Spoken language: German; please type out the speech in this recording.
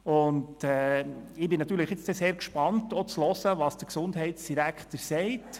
Ich bin nun sehr gespannt darauf, zu hören, was der Gesundheitsdirektor sagt.